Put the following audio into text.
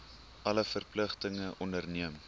alle verpligtinge onderneem